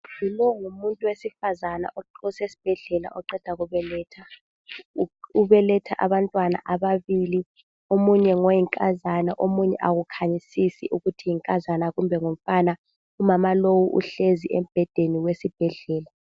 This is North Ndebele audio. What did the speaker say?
Lo ngumuntu wesifazana osesibhedlela oqeda kubeletha. Ubeletha abantwana ababili. Omunye ngoyinkazana omunye akukhanyisisi ukuthi ngoyinkazana kumbe ngongumfana. Umama lowu uhlezi embhedeni wesibhedlela.